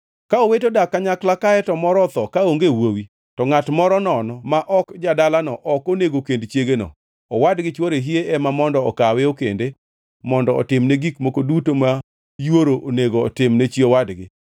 Ka owete odak kanyakla kae to moro otho kaonge wuowi, to ngʼat moro nono ma ok ja-dalano ok onego kend chiegeno. Owadgi chwore hie ema mondo okawe okende mondo otimne gik moko duto ma yuoro onego otimne chi owadgi.